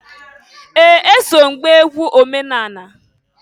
Ee! Eso m gbaa egwu omenani.